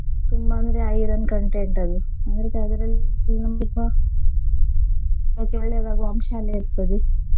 ತುಂಬಾ ಅಂದ್ರೆ iron content ಅದು ಒಳ್ಳೆದಾಗುವ ಅಂಶ ಎಲ್ಲ ಇರ್ತದೆ.